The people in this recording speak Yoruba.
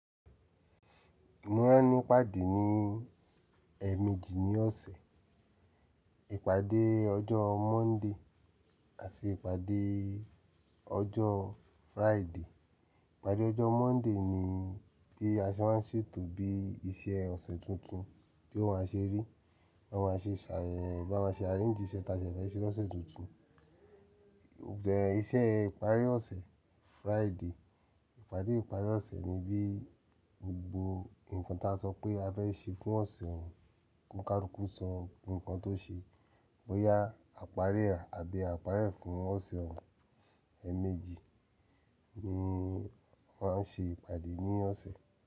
Mọ́ máa n ní'pàdé ní èemẹjì ní ọ̀sẹ̀. Ìpàdé ọjọ́ Monday àti ìpàdé ọjọ́ Friday. Ìpàdé ọjọ́ Monday ni bí a ṣe máa ń ṣètò bí iṣẹ́ ọ̀sẹ̀ tuntun tí ó máa ṣe rí. Bí a máa ṣe ṣà, bí a máa ṣe arrange iṣẹ́ tí a fẹ́ ṣe lọ́sẹ̀ tuntun. Ẹ̀ iṣẹ́ ìparí ọ̀sẹ̀ Friday. Ìpàdé ìparí ọ̀sẹ̀ ni bí gbogbo nǹkan tá sọ pé a fẹ́ ṣe fún ọ̀sẹ̀ òun, kónkálúkú so ǹkan tó ṣe, bóyá à parí e àbí à pári e fún ọ̀sẹ̀ òun. Èemẹjì ni wọ́n á ṣe ìpàdé ní ọ̀sẹ̀.